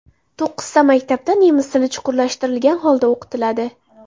To‘qqizta maktabda nemis tili chuqurlashtirgan holda o‘qitiladi.